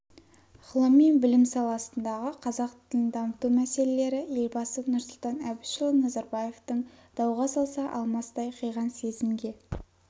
ғылым мен білім саласындағы қазақ тілін дамыту мәселелері елбасы нұрсұлтан әбішұлы назарбаевтың дауға салса-алмастай қиған сезімге